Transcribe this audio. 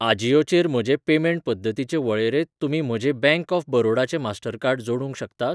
अजियो चेर म्हजे पेमेंट पद्दतींचे वळेरेंत तुमी म्हजें बॅंक ऑफ बरोडा चें मास्टरकार्ड जोडूंक शकतात?